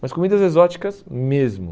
Mas comidas exóticas mesmo.